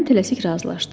Mən tələsik razılaşdım.